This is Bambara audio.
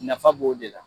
Nafa b'o de la